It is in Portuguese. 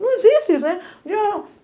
Não existe isso, né?